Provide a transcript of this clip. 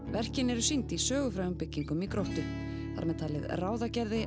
verkin eru sýnd í sögufrægum byggingum í Gróttu þar með talið ráðagerði